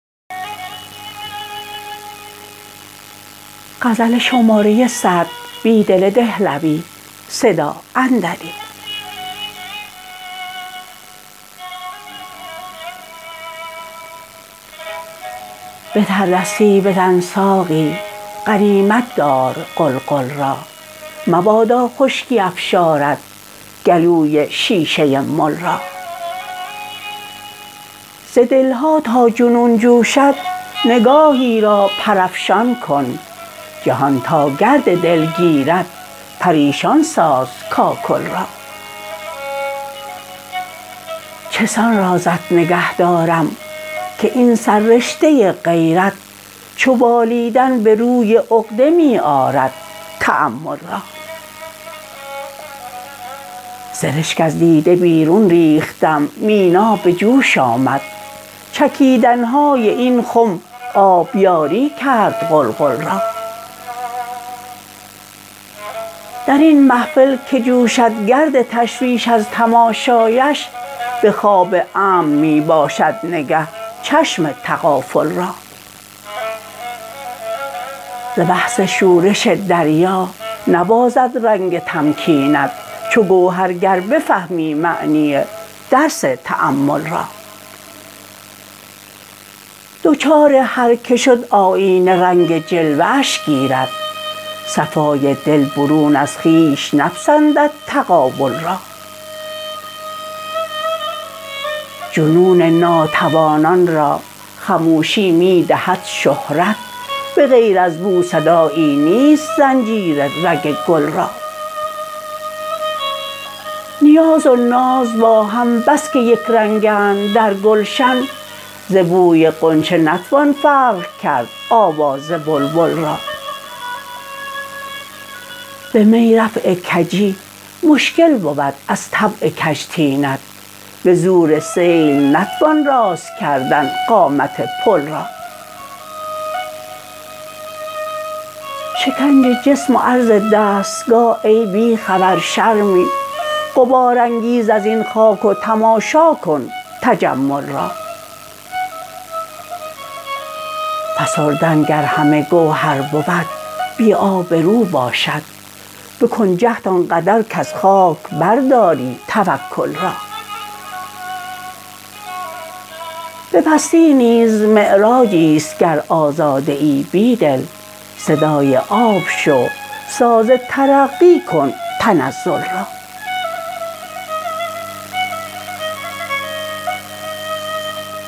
به تردستی بزن ساقی غنیمت دار قلقل را مبادا خشکی افشاردگلوی شیشه مل را ز دلها تا جنون جوشد نگاهی را پرافشان کن جهان تا گرد دل گیرد پریشان سازکاکل را چسان رازت نگهدارم که این سررشته غیرت چو بالیدن به روی عقده می آرد تأمل را سرشک از دیده بیرون ریختم مینا به جوش آمد چکیدنهای این خم آبیاری کرد قلقل را درین محفل که جوشدگرد تشویش از تماشایش به خواب امن می باشد نگه چشم تغافل را زبحث شورش دریا نبازد رنگ تمکینت چوگوهرگر بفهمی معنی درس تأمل را دچار هرکه شد آیینه رنگ جلوه اش گیرد صفای د ل برون از خویش نپسندد تقابل را جنون ناتوانان را خموشی می دهد شهرت به غیر از بو صدایی نیست زنجیر رگ گل را نیاز و ناز باهم بسکه یک رنگند درگلشن زبوی غنچه نتوان فرق کرد آواز بلبل را به می رفع کجی مشکل بود ازطبع کج طینت به زور سیل نتوان راست کردن قامت پل را شکنج جسم و عرض دستگاه ای بیخبر شرمی غبارانگیز ازین خاک و تماشاکن تجمل را فسردن گر همه گوهر بود بی آبرو باشد بکن جهد آن قدرکز خاک برداری توکل را به پستی نیز معراجی است گر آزاده ای بیدل صدای آب شو ساز ترقی کن تنزل را